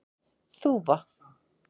Þúfu